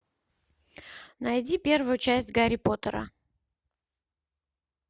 найди первую часть гарри поттера